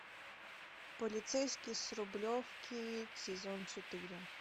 полицейский с рублевки сезон четыре